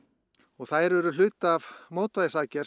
þær eru hluti af mótvægisaðgerð